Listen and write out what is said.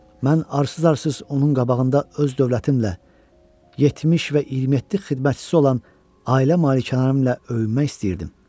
Mən arsız-arsız onun qabağında öz dövlətimlə, 70 və 27 xidmətçisi olan ailə malikanəmlə öyünmək istəyirdim.